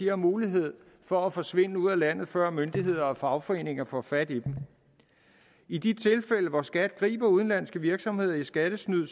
har mulighed for at forsvinde ud af landet før myndigheder og fagforeninger får fat i dem i de tilfælde hvor skat griber udenlandske virksomheder i skattesnyd